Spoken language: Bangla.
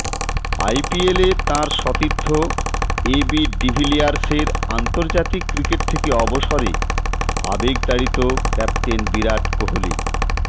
আইপিএলে তাঁর সতীর্থ এবি ডিভিলিয়ার্সের আন্তর্জাতিক ক্রিকেট থেকে অবসরে আবেগতাড়িত ক্যাপ্টেন বিরাট কোহলি